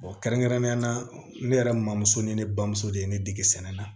kɛrɛnkɛrɛnnenya la ne yɛrɛ maamuso ni ne bamuso de ye ne dege sɛnɛ na